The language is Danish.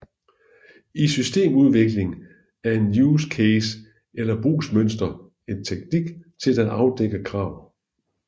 I systemudvikling er en use case eller brugsmønster en teknik til at afdække krav